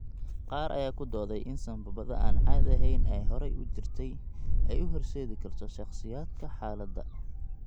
Qaar ayaa ku dooday in sambabada aan caadi ahayn ee horay u jirtay ay u horseedi karto shakhsiyaadka xaaladda.